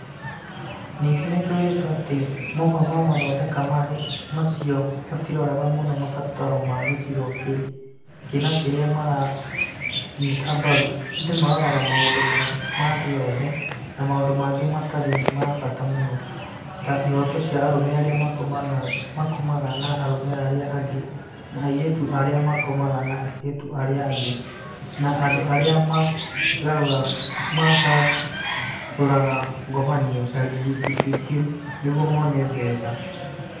Ningĩ nĩ kwĩrĩtwo atĩ mamwe ma mathondeka macio matiroraga mũno mabataro ma gĩcigo kĩna kĩrĩa maranyita mbaru, ĩndĩ maroraga maũndũ ma thĩ yothe na maũndũ mangĩ matarĩ ma bata mũno (ta ihoto cia arũme arĩa makomaga na arũme arĩa angĩ na airĩtu arĩa makomaga na airĩtu arĩa angĩ, na andũ arĩa magarũraga ngomanio) (LGBT)) nĩguo mone mbeca.